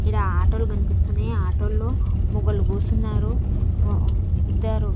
ఈడ ఆటో లు కనిపిస్తున్నాయి ఆటోల్లో మొగోళ్లు కూసున్నారు ఇద్దరు.